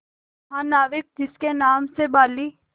महानाविक जिसके नाम से बाली